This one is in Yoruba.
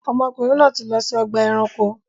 Ọmọkùnrin náà ti lọ si ọgba ẹranko.